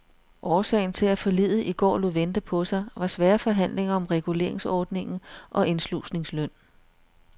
Årsagen til at forliget i går lod vente på sig var svære forhandlinger om reguleringsordningen og indslusningsløn.